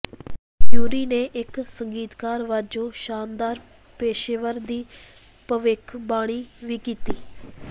ਯੂਰੀ ਨੇ ਇਕ ਸੰਗੀਤਕਾਰ ਵਜੋਂ ਸ਼ਾਨਦਾਰ ਪੇਸ਼ੇਵਰ ਦੀ ਭਵਿੱਖਬਾਣੀ ਵੀ ਕੀਤੀ